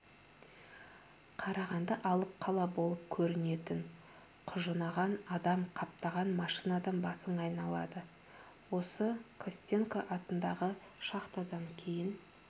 қарағанды алып қала болып көрінетін құжынаған адам қаптаған машинадан басың айналады осы костенко атындағы шахтадан кейін